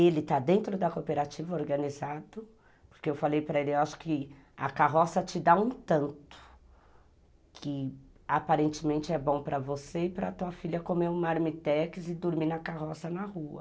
Ele está dentro da cooperativa organizado, porque eu falei para ele, acho que a carroça te dá um tanto, que aparentemente é bom para você e para a tua filha comer um marmitex e dormir na carroça na rua.